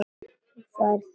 Þú færð tvo daga.